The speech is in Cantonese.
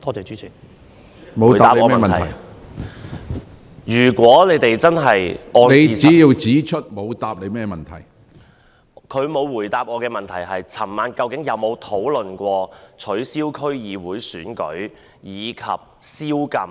司長沒有回答我的補充質詢：他們在昨晚舉行的會議上究竟有否討論取消區議會選舉及宵禁？